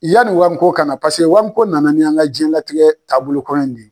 Yanni wamiko ka na paseke wamiko na na n'an ka jiyɛnlatigɛ taabolo kura in de ye.